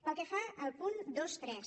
pel que fa al punt vint tres